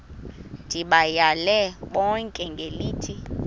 ndibayale bonke ngelithi